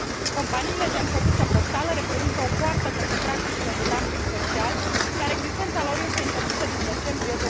Companiile gen căsuță poștală reprezintă o poartă către practicile de dumping social, iar existența lor este interzisă din decembrie